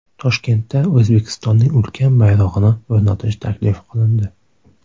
Toshkentda O‘zbekistonning ulkan bayrog‘ini o‘rnatish taklif qilindi.